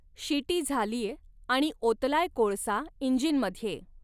शिटी झालीय आणि ओतलाय कोळसा इंजिनमध्ये.